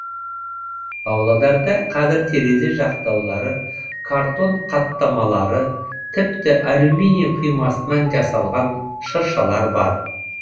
павлодарда қазір терезе жақтаулары картон қаттамалары тіпті алюминий құймасынан жасалған шыршалар бар